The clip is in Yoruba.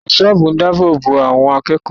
Ẹ̀ṣọ́ ààbò ń dáàbò bo àwọn akẹ́kọ̀ọ́